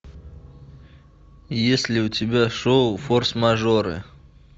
есть ли у тебя шоу форс мажоры